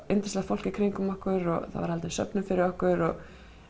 yndislegt fólk í kringum okkur og það var haldin söfnun fyrir okkur og